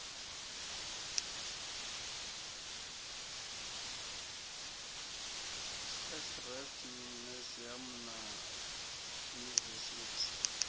s rest museum na yunivesithi